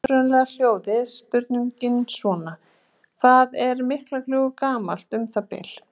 Upprunalega hljóðaði spurningin svona: Hvað er Miklagljúfur gamalt um það bil?